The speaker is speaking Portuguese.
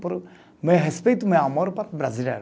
Por meu respeito, meu amor para o brasileiro.